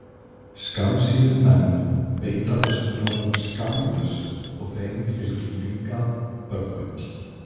skammsýnir menn beita þessum ráðum skammlaust og þeim fylgir líka böggull